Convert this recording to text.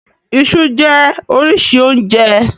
Iṣú jẹ́ oríṣi oúnjẹ.